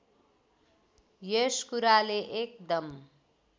यस कुराले एकदम